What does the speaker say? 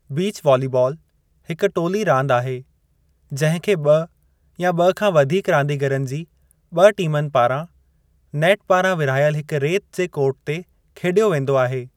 Beach volleyball हिकु टोली रांदु आहे जंहिं खे ब॒ या ब॒ खां वधीक रांदीगरनि जी ब॒ टीमनि पारां, नेट पारां विरहायलु हिकु रेत जे कोर्ट ते खेडि॒यो वेंदो आहे।